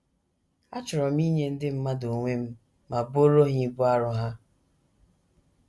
Achọrọ m inye ndị mmadụ onwe m ma buoro ha ibu arọ ha.